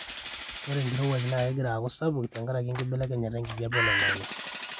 ore nkirowuaj naa kegira aaku sapuk tenkaraki enkibelekenyata enkijape oloingangi